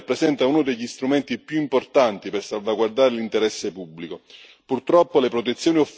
La protezione degli informatori rappresenta uno degli strumenti più importanti per salvaguardare l'interesse pubblico.